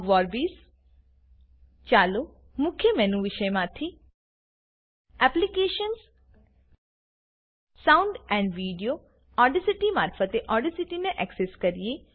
લેમ સંસ્થાપન જુઓ Ogg Vorbis ચાલો મુખ્ય મેનુ વિષયમાંથી applications sound and video Audacity મારફતે ઓડેસીટીને એક્સેસ કરીએ